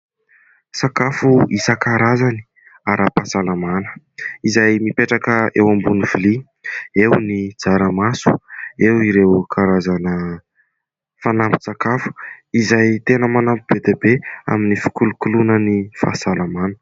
Sakafo isan-karazany ara-pahasalamana, izay mipetraka eo ambony vilia. Eo ny tsaramaso, eo ireo karazana fanampin-tsakafo izay tena manampy be dia be amin'ny fikolokoloana ny fahasalamana.